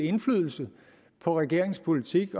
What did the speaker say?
indflydelse på regeringens politik